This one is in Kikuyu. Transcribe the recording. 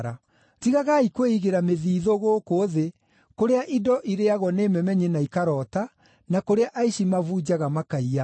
“Tigagai kwĩigĩra mĩthiithũ gũkũ thĩ, kũrĩa indo irĩĩagwo nĩ memenyi na ikaroota, na kũrĩa aici mabunjaga makaiya.